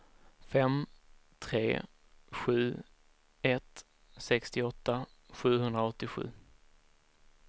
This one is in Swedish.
fem tre sju ett sextioåtta sjuhundraåttiosju